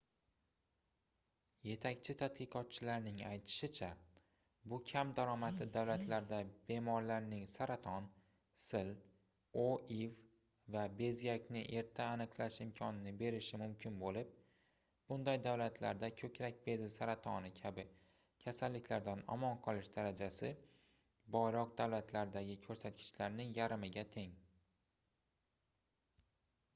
yetakchi tadqiqotchilarning aytishicha bu kam daromadli davlatlarda bemorlarning saraton sil oiv va bezgakni erta aniqlash imkonini berishi mumkin boʻlib bunday davlatlarda koʻkrak bezi saratoni kabi kasalliklardan omon qolish darajasi boyroq davlatlardagi koʻrsatkichning yarmiga teng